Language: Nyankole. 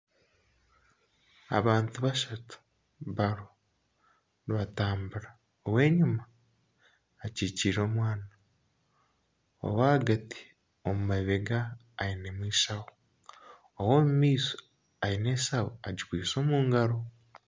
Abantu bashatu bariho nibatambura, ow'enyima akikiire omwana, ow'ahagati omu mabega ge ayinami enshaho, ow'omu maisho ayine enshaho agikwiste omu ngaro.